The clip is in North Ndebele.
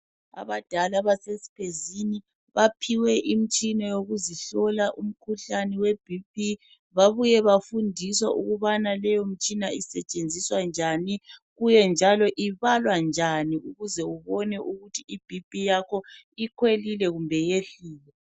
Abadala base Siphezini, baphiwe imtshina yokuzihlola umkhuhlane weBP, babuye bafundiswa ukubana leyomtshina isetshenziswa njani, kuye njalo ibalwa njani ukuze ubone ukuthi iBP yakho ikhwelile kumbe yehlile.